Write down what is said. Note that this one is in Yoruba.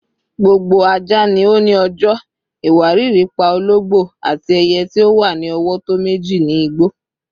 "Gbogbo aja ni o ni ọjọ rẹ," "Iwariiri pa ologbo," ati "Eye ti o wa ni ọwọ tọ meji ni igbo."